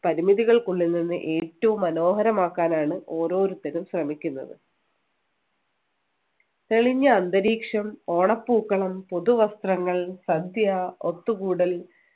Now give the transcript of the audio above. പരിമിതികൾക്കുള്ളിൽ നിന്ന് ഏറ്റവും മനോഹരമാക്കാനാണ് ഓരോരുത്തരും ശ്രമിക്കുന്നത് തെളിഞ്ഞ അന്തരീക്ഷം ഓണപ്പൂക്കളം പുതുവസ്ത്രങ്ങൾ സദ്യ ഒത്തുകൂടൽ